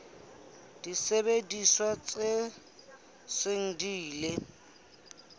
disebediswa tse seng di ile